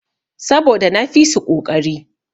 Saboda na fisu koƙari.